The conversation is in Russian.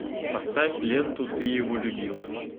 поставь ленту ты его любила